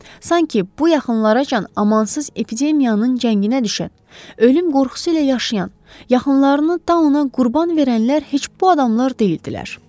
Sankı bu yaxınlaracan amansız epidemiyanın cənginə düşən, ölüm qorxusu ilə yaşayan, yaxınlarını da ona qurban verənlər heç bu adamlar deyildilər.